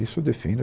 Isso eu defendo